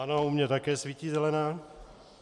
Ano, u mě také svítí zelená.